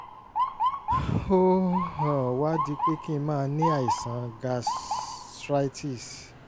ó um wá di pé kí n máa ní àìsàn gastritis